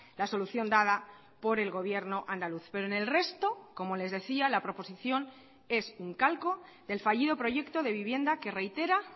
la solución dada por el gobierno andaluz pero en el resto como les decía la proposición es un calco del fallido proyecto de vivienda que reitera